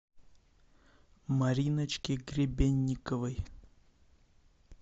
мариночке гребенниковой